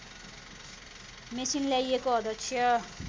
machine ल्याइएको अध्यक्ष